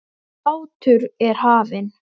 Sláttur er hafinn.